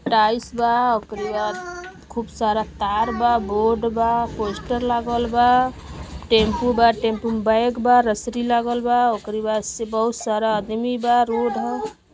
Tiles बा उकरे बाद खूब सारा तार बा बोर्ड बा पोस्टर लागल बा। टेम्पु बा टेम्पु में बैग बा। रसरी लागलबा उकरे बाद से बहुत सारा आदमी बा रोड ह।